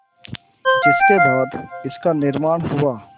जिसके बाद इसका निर्माण हुआ